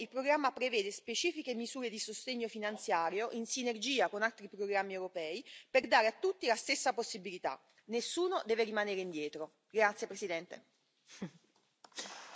Per questo motivo, anche grazie alle mie proposte, il programma prevede specifiche misure di sostegno finanziario, in sinergia con altri programmi europei, per dare a tutti la stessa possibilità nessuno deve rimanere indietro.